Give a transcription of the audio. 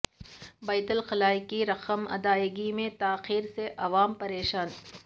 بیت الخلاء کی رقم ادائیگی میں تاخیر سے عوام پریشان